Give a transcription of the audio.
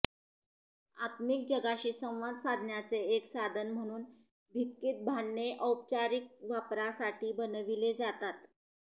आत्मिक जगाशी संवाद साधण्याचे एक साधन म्हणून भिक्खीत भांडणे औपचारिक वापरासाठी बनविले जातात